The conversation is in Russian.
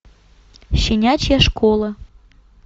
щенячья школа